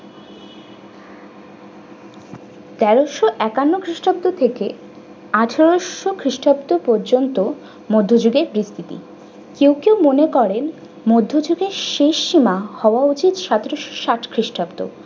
তেরশো একান্নো খ্রিস্টাব্দ থেকে আঠারশো খ্রিষ্টাব্দ পর্যন্ত মধ্যযুগের ভিত্তিতি। কেউ কেউ মনে করেন মধ্যযুগের শেষ সীমা হওয়া উচিত সতেরোশো সাত খ্রিস্টাব্দ।